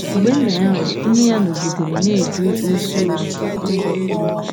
Mgbe nna ya nwụrụ ,nne ya nọgidere na-eje ozi ọsụ ụzọ pụrụ iche.